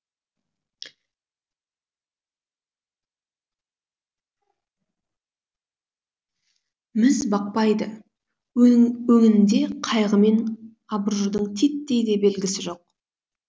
міз бақпайды өңінде қайғы мен абыржудың титтей де белгісі жоқ